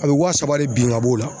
A bɛ wa saba de bin ka b'o la.